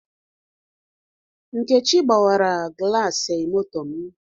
Nkechi gbawara glasi moto m